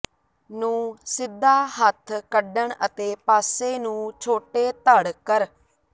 ਨੂੰ ਸਿੱਧਾ ਹੱਥ ਕੱਢਣ ਅਤੇ ਪਾਸੇ ਨੂੰ ਛੋਟੇ ਧੜ ਕਰ